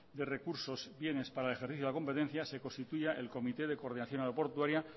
de recursos bienes para el ejercicio de la competencia se constituya el comité de coordinación aeroportuaria